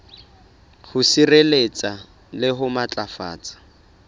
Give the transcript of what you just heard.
ho sireletsa le ho matlafatsa